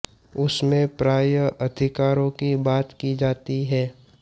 उसमें प्रायः अधिकारों की बात की जाती है